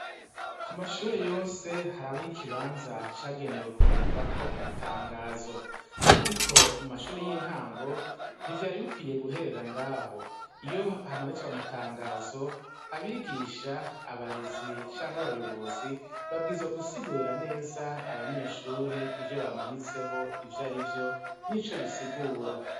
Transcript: Kumashure yose harabaho ikibanza cagenewe kumanikwako amatangazo ariko mumashure y'intango ntivyari bikwiye guherera ngaho. Iyo hamanitswe amatangazo abigisha, abarezi canke abarongozi babwizwa gusigurira neza abanyeshure ivyobamanitseho ivyarivyo nico bisigura.